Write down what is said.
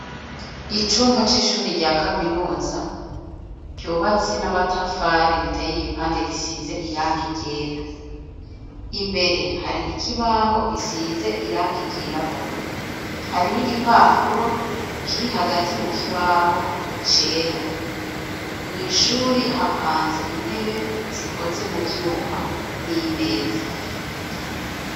Icumba c'ishuri rya kaminuza, ryubatse n'amatafari ritey'igipande gisize irangi ryera, imbere, hari ikibaho gisize irangi ryirabura, hari n'igipapuro kiri hagati mu kibaho cera ,mw' Ishuri hapanze intebe, zikoze mu vyuma n'imeza.